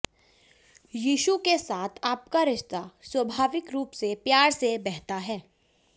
यीशु के साथ आपका रिश्ता स्वाभाविक रूप से प्यार से बहता है